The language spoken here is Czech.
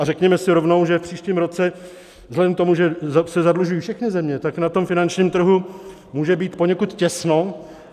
A řekněme si rovnou, že v příštím roce vzhledem k tomu, že se zadlužují všechny země, tak na tom finančním trhu může být poněkud těsno.